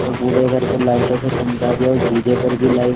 और पूरे घर को लाइटों से चमका दिया और डी.जे. पर भी लाइट --